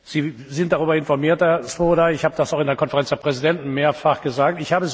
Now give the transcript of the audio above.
Sie sind darüber informiert, Herr Swoboda, ich habe das auch in der Konferenz der Präsidenten mehrfach gesagt.